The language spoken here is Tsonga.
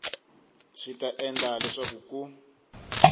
swi ta endla leswaku ku